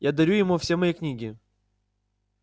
я дарю ему все мои книги